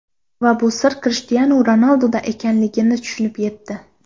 V bu sir Krishtianu Ronalduda ekanligini tushunib yetdi.